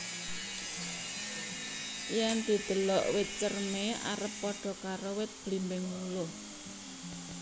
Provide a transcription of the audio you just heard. Yen didelok wit cerme arep padha karo wit blimbing wuluh